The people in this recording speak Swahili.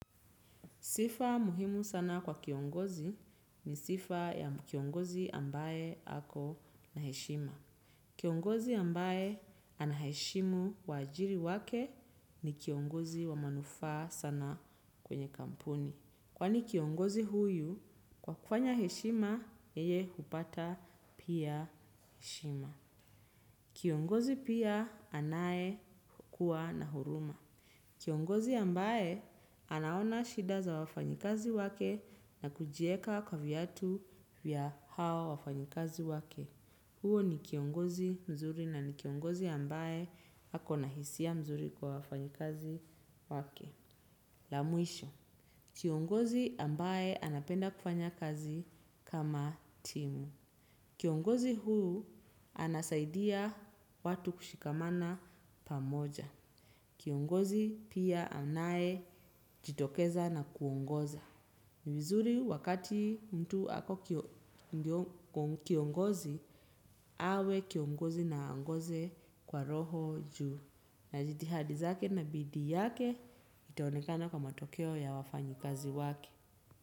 Sifa muhimu sana kwa kiongozi ni sifa ya kiongozi ambaye ako na heshima. Kiongozi ambaye anaheshimu waajiri wake ni kiongozi wa manufaa sana kwenye kampuni. Kwani kiongozi huyu, kwa kufanya heshima, yeye hupata pia heshima. Kiongozi pia anayekuwa na huruma. Kiongozi ambaye anaona shida za wafanyikazi wake na kujieka kwa viatu vya hawa wafanyikazi wake. Huyo ni kiongozi mzuri na ni kiongozi ambaye hako nahisia mzuri kwa wafanyikazi wake. La mwisho. Kiongozi ambaye anapenda kufanya kazi kama timu. Kiongozi huyu anasaidia watu kushikamana pamoja. Kiongozi pia anayejitokeza na kuongoza. Vizuri wakati mtu ako kiongozi, awe kiongozi na angoze kwa roho juu. Na jitihadi zake na bidii yake itaonekana kwa matokeo ya wafanyikazi wake.